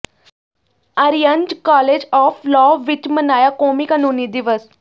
Aryans college of law ਵਿੱਚ ਮਨਾਇਆ ਕੌਮੀ ਕਾਨੂੰਨੀ ਦਿਵਸ